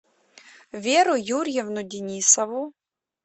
веру юрьевну денисову